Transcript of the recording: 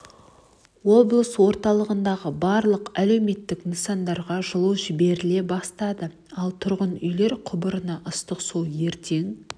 облыс орталығындағы барлық әлеуметтік нысандарға жылу жіберіле бастады ал тұрғын үйлер құбырына ыстық су ертең